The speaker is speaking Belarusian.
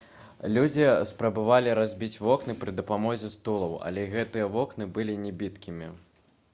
людзі спрабавалі разбіць вокны пры дапамозе стулаў але гэтыя вокны былі небіткімі